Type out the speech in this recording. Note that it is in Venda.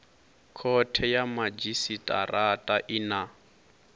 khothe ya madzhisitirata i na